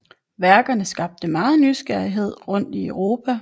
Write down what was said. Værkerne skabte meget nysgerrighed rundt i Europa